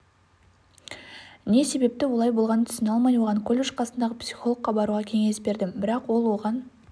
не себепті олай болғанын түсіне алмай оған колледж қасындағы психологқа баруға кеңес бердім бірақ ол оған